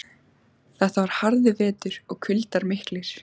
Þetta var harður vetur og kuldar miklir.